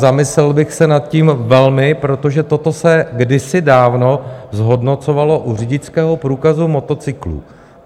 Zamyslel bych se nad tím velmi, protože toto se kdysi dávno zhodnocovalo u řidičského průkazu motocyklů.